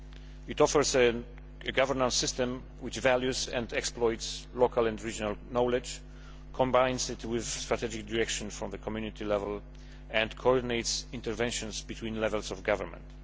It offers a governance system which values and exploits local and regional knowledge, combines it with strategic direction from the Community level, and coordinates interventions between levels of government.